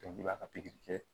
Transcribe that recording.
i b'a pikiri kɛ